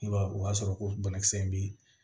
I b'a ye o b'a sɔrɔ ko banakisɛ in bɛ